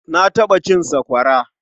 Na taɓa cin sakwara.